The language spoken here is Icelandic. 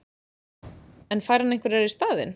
En fær hann einhverjar í staðinn?